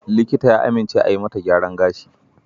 Likita ya amince a yi mata gyaran gashi.